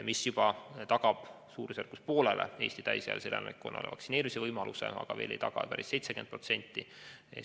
See tagab juba umbes poolele Eesti täisealisele elanikkonnale vaktsineerimise võimaluse, aga veel mitte päris 70%-le.